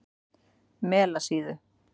Melasíðu